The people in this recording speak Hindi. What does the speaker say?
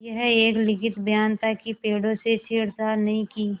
यह एक लिखित बयान था कि पेड़ों से छेड़छाड़ नहीं की